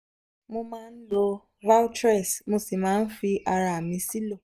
mo máa ń lo valtrex mo sì máa ń fi ara mi sílò um